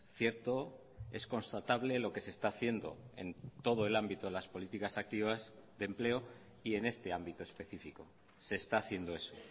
cierto es constatable lo que se está haciendo en todo el ámbito de las políticas activas de empleo y en este ámbito específico se está haciendo eso